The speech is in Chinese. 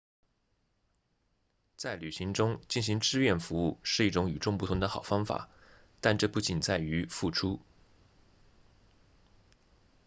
在旅行中进行志愿服务是一种与众不同的好方法但这不仅仅在于付出